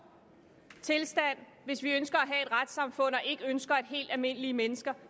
tilstand hvis vi ønsker at have et retssamfund og ikke ønsker at helt almindelige mennesker